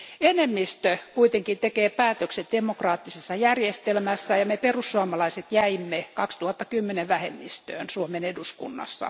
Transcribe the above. Enemmistö kuitenkin tekee päätökset demokraattisessa järjestelmässä, ja me perussuomalaiset jäimme 2010 vähemmistöön Suomen eduskunnassa.